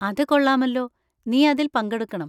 അത് കൊള്ളാമല്ലോ, നീ അതിൽ പങ്കെടുക്കണം.